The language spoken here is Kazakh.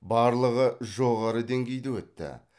барлығы жоғары деңгейде өтті